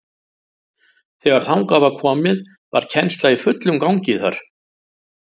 Þegar þangað var komið var kennsla í fullum gangi þar.